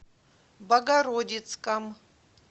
богородицком